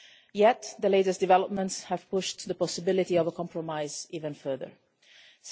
Yet, the latest developments have pushed the possibility of a compromise even further away.